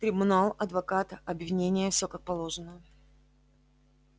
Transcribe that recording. трибунал адвокат обвинение всё как положено